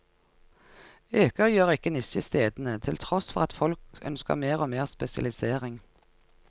Øker gjør ikke nisjestedene, til tross for at folk ønsker mer og mer spesialisering.